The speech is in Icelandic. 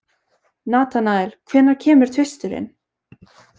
Natanael, hvenær kemur tvisturinn?